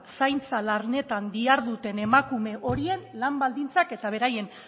zaintza lanetan diharduten emakume horien lan baldintzak eta beraien